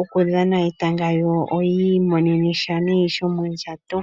okudhana etanga lyawo, yo yi imonene sha nee shomondjato.